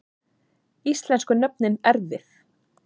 Íslensku nöfnin erfið